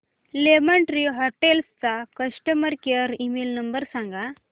lemon tree hotels चा customer care email number सांगा